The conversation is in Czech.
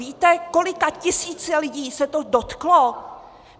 Víte, kolika tisíc lidí se to dotklo?